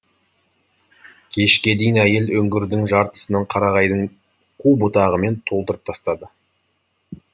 кешке дейін әйел үңгірдің жартысын қарағайдың қу бұтағымен толтырып тастады